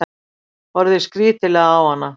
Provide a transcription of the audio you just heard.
Horfði skrítilega á hana.